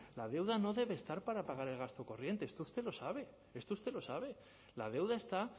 la deuda no debe estar para pagar el gasto corriente esto usted lo sabe esto usted lo sabe la deuda está